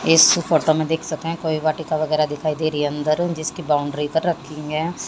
इस फोटो मे देख सके कोई वाटिका वगैरा दिखाई दे रही है अंदरु जिसकी बाउंड्री पर रखी है।